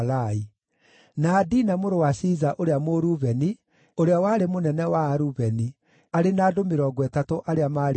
na Adina mũrũ wa Shiza ũrĩa Mũrubeni, ũrĩa warĩ mũnene wa Arubeni, arĩ na andũ mĩrongo ĩtatũ arĩa maarĩ nake,